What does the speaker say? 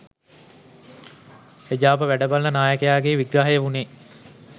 එජාප වැඩබලන නායකගේ විග්‍රහය වුණේ